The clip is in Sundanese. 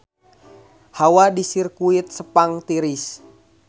Hawa di Sirkuit Sepang tiris